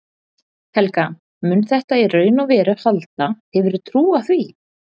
Helga: Mun þetta í raun og veru halda, hefurðu trú á því?